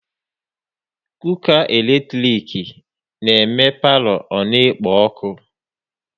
Cooka eletrik na eme palo ọ na-ekpo ọkụ